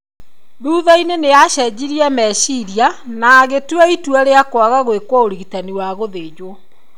Thutha-inĩ nĩ aacenjirie meciria na agĩtua itua rĩa kwaga gũĩkwo ũrigitani wa gũthenjwo.